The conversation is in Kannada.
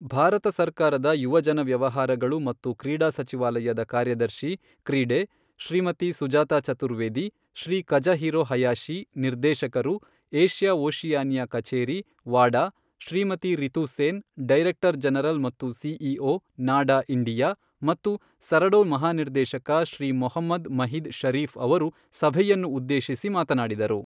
ಭಾರತ ಸರ್ಕಾರದ ಯುವಜನ ವ್ಯವಹಾರಗಳು ಮತ್ತು ಕ್ರೀಡಾ ಸಚಿವಾಲಯದ ಕಾರ್ಯದರ್ಶಿ ಕ್ರೀಡೆ ಶ್ರೀಮತಿ ಸುಜಾತಾ ಚತುರ್ವೇದಿ, ಶ್ರೀ ಕಝುಹಿರೊ ಹಯಾಶಿ, ನಿರ್ದೇಶಕರು, ಏಷ್ಯಾ ಓಷಿಯಾನಿಯಾ ಕಚೇರಿ, ವಾಡಾ, ಶ್ರೀಮತಿ ರಿತು ಸೇನ್, ಡೈರೆಕ್ಟರ್ ಜನರಲ್ ಮತ್ತು ಸಿಇಒ, ನಾಡಾ ಇಂಡಿಯಾ ಮತ್ತು ಸರಡೊ ಮಹಾನಿರ್ದೇಶಕ ಶ್ರೀ ಮೊಹಮ್ಮದ್ ಮಹಿದ್ ಶರೀಫ್ ಅವರು ಸಭೆಯನ್ನು ಉದ್ದೇಶಿಸಿ ಮಾತನಾಡಿದರು.